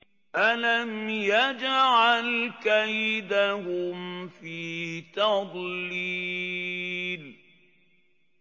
أَلَمْ يَجْعَلْ كَيْدَهُمْ فِي تَضْلِيلٍ